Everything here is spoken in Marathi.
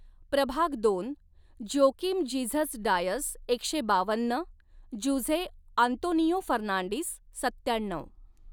प्रभाग दोन, ज्योकिम जीझस डायस एकशे बावन्न, जुझे आंतोनियो फर्नांडिस सत्याण्णव.